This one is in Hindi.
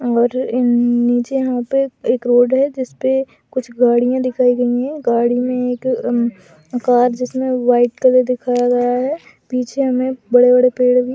और इन-नीचे यहाँ पे एक-एक रोड है जिसपे कुछ गाड़ियां दिखाई गई है गाड़ी मे एक अ कार जिसमे व्हाइट कलर दिखाया गया है पीछे में बड़े-बड़े पड़े भी --